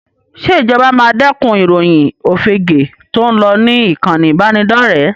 Ṣé ìjọba máa dẹ́kun ìròyìn òfegèé tó ń lọ ní ìkànì ìbánidọ́rẹ̀ẹ́?